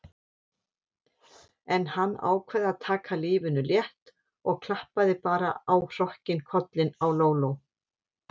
En hann ákvað að taka lífinu létt og klappaði bara á hrokkinn kollinn á Lóló.